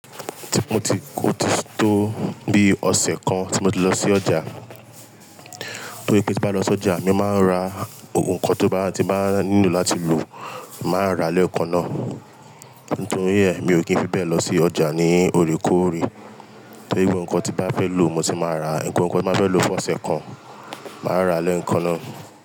Tí mo ti kó tó bí ọ̀sẹ̀ kan tí mo ti lọ sí ọjà. Torí pé tí bá lọ sí ọjà mi máa ń ra ohun kan tó bá ti máa nílò láti lò, màá rà á lẹ́ẹ̀kan náà. Nítorí ẹ̀, mi ò kí n fi bẹ́ẹ̀ lọ sí ọjà ní oríkorí. Torí pé ohun kan tí bá fẹ́ lò mo sì máa rà á. Ǹkan ohun kan tí máa fẹ́ lò fún ọ̀sẹ̀ kan, màá rà á lẹ́ẹ̀kan náà.